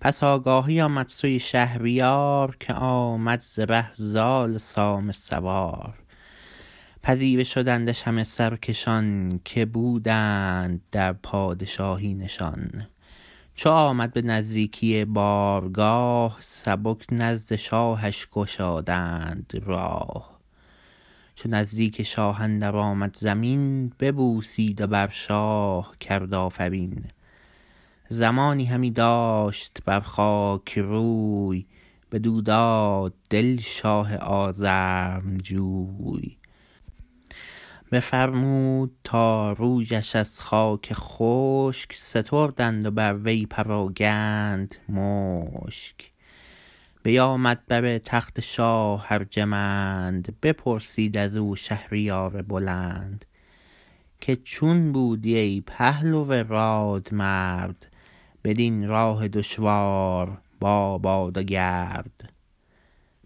پس آگاهی آمد سوی شهریار که آمد ز ره زال سام سوار پذیره شدندش همه سرکشان که بودند در پادشاهی نشان چو آمد به نزدیکی بارگاه سبک نزد شاهش گشادند راه چو نزدیک شاه اندر آمد زمین ببوسید و بر شاه کرد آفرین زمانی همی داشت بر خاک روی بدو داد دل شاه آزرمجوی بفرمود تا رویش از خاک خشک ستردند و بر وی پراگند مشک بیامد بر تخت شاه ارجمند بپرسید ازو شهریار بلند که چون بودی ای پهلو راد مرد بدین راه دشوار با باد و گرد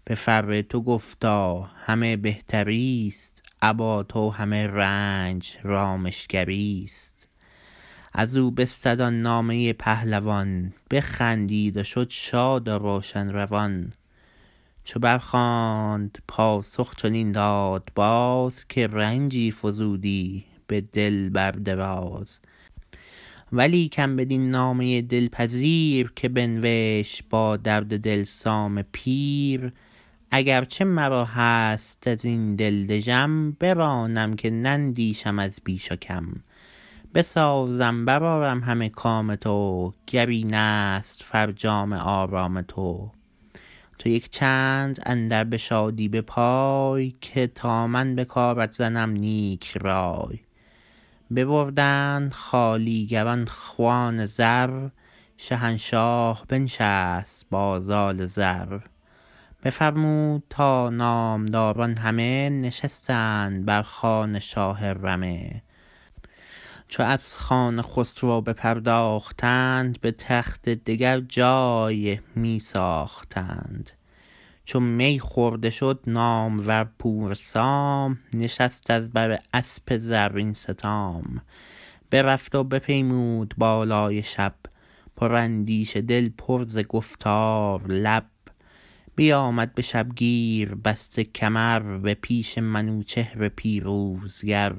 به فر تو گفتا همه بهتریست ابا تو همه رنج رامشگریست ازو بستد آن نامه پهلوان بخندید و شد شاد و روشن روان چو بر خواند پاسخ چنین داد باز که رنجی فزودی به دل بر دراز ولیکن بدین نامه دلپذیر که بنوشت با درد دل سام پیر اگر چه مرا هست ازین دل دژم برانم که نندیشم از بیش و کم بسازم برآرم همه کام تو گر اینست فرجام آرام تو تو یک چند اندر به شادی به پای که تا من به کارت زنم نیک رای ببردند خوالیگران خوان زر شهنشاه بنشست با زال زر بفرمود تا نامداران همه نشستند بر خوان شاه رمه چو از خوان خسرو بپرداختند به تخت دگر جای می ساختند چو می خورده شد نامور پور سام نشست از بر اسپ زرین ستام برفت و بپیمود بالای شب پر اندیشه دل پر ز گفتار لب بیامد به شبگیر بسته کمر به پیش منوچهر پیروزگر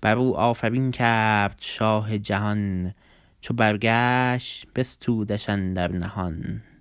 برو آفرین کرد شاه جهان چو برگشت بستودش اندر نهان